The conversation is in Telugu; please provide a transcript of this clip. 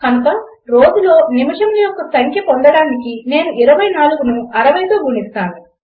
కనుక రోజులో నిమిషముల యొక్క సంఖ్య పొందడానికి నేను 24ను 60తో గుణిస్తాను